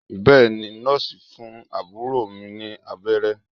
Bẹ́èni Nọ́ọ̀sì ń fún àbúrò mi ní abẹ́rẹ́